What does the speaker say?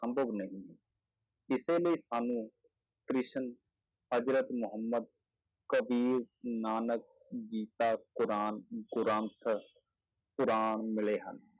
ਸੰਭਵ ਨਹੀਂ ਹੈ ਇਸੇ ਲਈ ਸਾਨੂੰ ਕ੍ਰਿਸ਼ਨ ਹਜ਼ਰਤ ਮੁਹੰਮਦ ਕਬੀਰ ਨਾਨਕ ਗੀਤਾ ਕੁਰਾਨ ਗ੍ਰੰਥ ਕੁਰਾਨ ਮਿਲੇ ਹਨ।